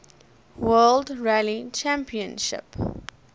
world rally championship